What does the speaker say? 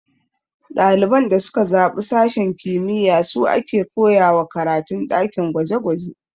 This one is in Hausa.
Ɗaliban da suka zaɓi sashen kimiyya su a ke koyawa karatun ɗakin gwaje gwaje